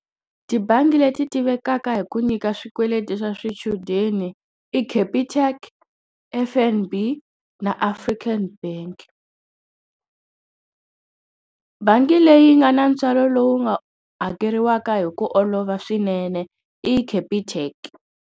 Tibangi leti tivekaka hi ku nyika swikweleti swa swichudeni i Capitec F_N_B na African bank bank i leyi nga na ntswalo lowu nga hakeriwaka hi ku olova swinene i Capitec.